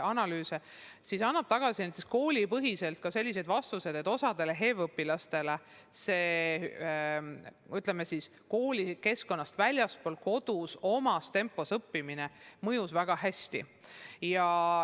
See on andnud näiteks koolipõhiselt ka selliseid tulemusi, et osale HEV‑õpilastele koolikeskkonnast väljaspool, kodus omas tempos õppimine mõjus väga hästi.